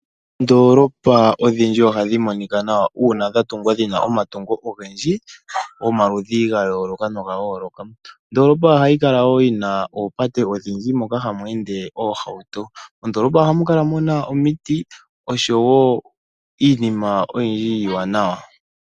Oondoolopa odhindji ohadhi monika nawa uuna dha tungwa dhina omatungo ogendji gomaludhi gi ili nogi ili. Ondoolopa ohayi kala wo yi na oopate odhindji moka hamu ende oohauto. Mondoolopa ohamu kala mu na omiti osho wo iinima oyindji iiwanawa.